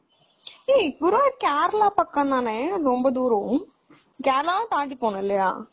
ஏய் குருவாயூர் கேரளா பக்கம் தானே ரொம்ப தூரம்